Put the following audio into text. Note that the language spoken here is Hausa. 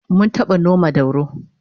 Mun taba noma dauro